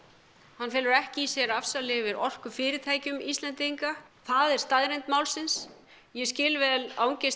hann felur ekki í sér afsal yfir orkufyrirtækjum Íslendinga það er staðreynd málsins ég skil vel angist